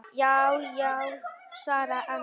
Já já, svaraði annar.